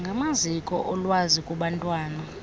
ngamaziko olwazi kubantwana